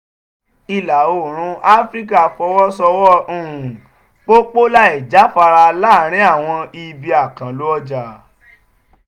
ìlà-oòrùn áfíríkà fọwọ́ sowọ́ um pòpọ̀ láìjáfara láàárín àwọn ibi àkànlò ọjà